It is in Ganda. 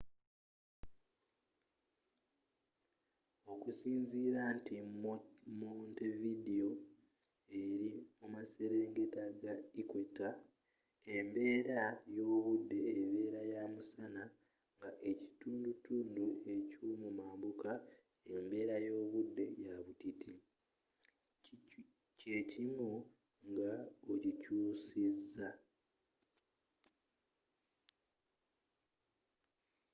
okusinzira nti montevideo eri mu maserengeta ga equator embeera y'obudde ebera ya musana nga ekitundutundu ekyo'mumambuka embeera y'obudde ya butiti kyekimu nga okikyusiza